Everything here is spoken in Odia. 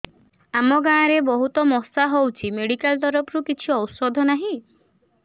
ଆମ ଗାଁ ରେ ବହୁତ ମଶା ହଉଚି ମେଡିକାଲ ତରଫରୁ କିଛି ଔଷଧ ନାହିଁ